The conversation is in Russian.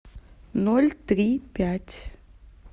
ноль три пять